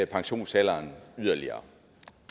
pensionsalderen yderligere